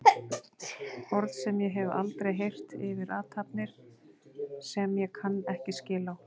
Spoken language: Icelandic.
Orð sem ég hef aldrei heyrt yfir athafnir sem ég kann ekki skil á.